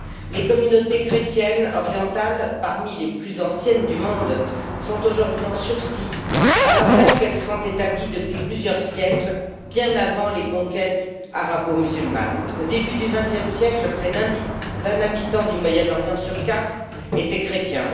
Les communautés chrétiennes orientales, parmi les plus anciennes du monde, sont aujourd'hui en sursis, alors même qu'elles sont établies depuis plusieurs siècles, bien avant les conquêtes arabo musulmanes. Au début du vingtième siècle, près d'un habitant du Moyen Orient sur quatre était chrétien.